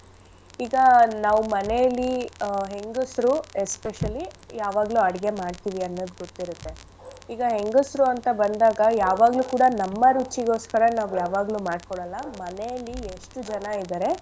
ಈಗ ನಾವ್ ಮನೇಲಿ ಆ ಹೆಂಗಸ್ರು especially ಯಾವಾಗ್ಲು ಅಡ್ಗೆ ಮಾಡ್ತಿವಿ ಅನ್ನೋದ್ ಗೊತ್ತಿರತ್ತೆ . ಈಗ ಹೆಂಗಸ್ರು ಅಂತ ಬಂದಾಗ ಯಾವಾಗ್ಲು ಕೂಡ ನಮ್ಮ ರುಚಿಗೊಸ್ಕರ ನಾವ್ ಯಾವಾಗ್ಲು ಮಾಡ್ಕೊಳಲ್ಲ ಮನೇಲಿ ಎಷ್ಟು ಜನ ಇದಾರೆ.